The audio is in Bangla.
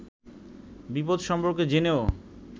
বিপদ সম্পর্কে জেনেও